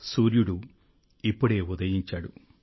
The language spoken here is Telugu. సూర్యుడు ఇప్పుడే ఉదయించాడు